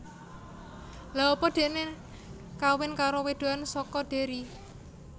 Lha apa deknen kawin karo wedokan soko Derry?